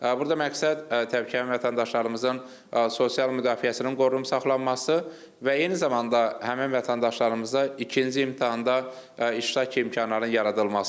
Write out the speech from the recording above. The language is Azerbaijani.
Burada məqsəd təbii ki, həmvətəndaşlarımızın sosial müdafiəsinin qorunub saxlanması və eyni zamanda həmin vətəndaşlarımıza ikinci imtahanda iştirak imkanlarının yaradılmasıdır.